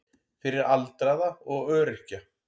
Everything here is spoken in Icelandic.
Fyrir aldraða og öryrkja.